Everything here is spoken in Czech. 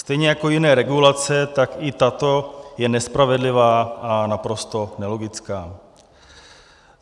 Stejně jako jiné regulace, tak i tato je nespravedlivá a naprosto nelogická.